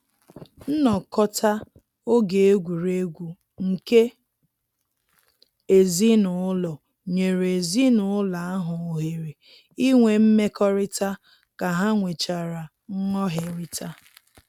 Nnọkọta oge egwuregwu nke ezinụlọ nyere ezinụlọ ahụ ohere inwe mmekọrịta ka ha nwechara nghọherita